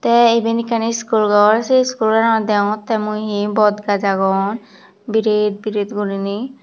tey iben ekkan iskul gor sey iskul goranot degongottey mui hi bodgaaj agon biret biret guriney.